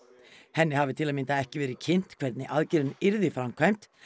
henni hafi til að mynda ekki verið kynnt hvernig aðgerðin yrði framkvæmd